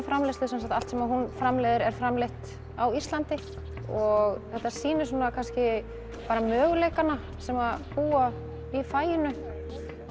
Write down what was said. framleiðslu allt sem hún framleiðir er framleitt á Íslandi og þetta sýnir kannski möguleikana sem búa í faginu